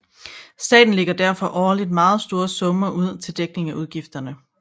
Staten lægger derfor årligt meget store summer ud til dækning af udgifterne